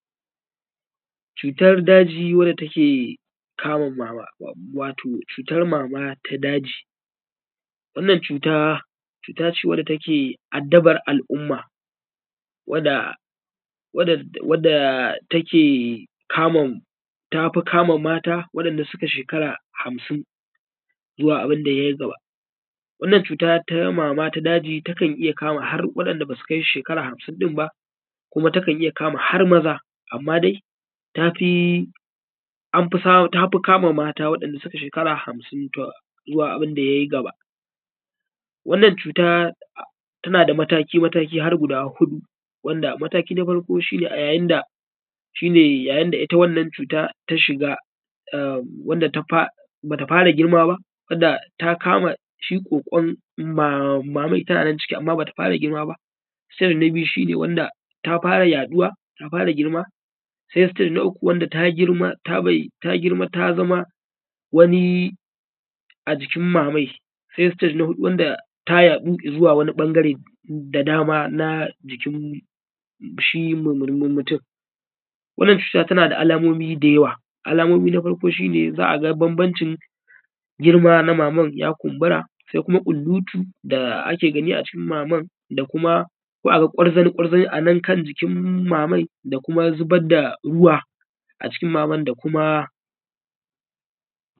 Cutar daji wanda take kama mama, wato cutar mama ta daji. Wannan cuta cuta ce wadda take adaban al’umma wadda take kama, tafi kama mata wanda suka shekara hamsin zuwa abinda ye gaba. Wannan cuta ta daji takan iya kama har wa’inda basu kai shekara hamsin din ba kuma takan iya kama har maza amma dai tafi anfi, tafi kama mata waɗanda suka shekara hamsin zuwa abinda ya yi gaba. Wannan cuta tana da mataki mataki har guda huɗu, wanda mataki na farko shi ne a ya yında shi ne ya yinda ita wannan cuta ta shiga wanda ta fara, bata fara girma ba wadda ta kama shi ƙoƙon maman tana nan ciki amma bata fara girma ba. Sannan na biyu shi ne wanda ta fara yaɗuwa ta fara girma. Sai sitaje na uku wanda ta girma ta zama wani a jikin mamai. Sai sitaje na huɗu wanda ta yaɗu izuwa wani ɓangare da dama na jikin shi mumur mutum. Wannan cuta tana da alamomi da yawa, alamomi na farko shi ne za a ga bambamcin girma na maman ya kumbura, sai kuma ƙulutu da ake gani a jikin maman ko aga gwarzane gwarzane a jikin mamai da kuma zubar da ruwa a jikin maman da kuma.